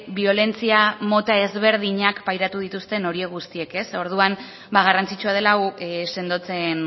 biolentzia mota ezberdinak pairatu dituzten horiek guztiek orduan ba garrantzitsua dela hau sendotzen